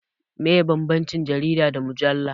Meye bambancin jarida da mujalla?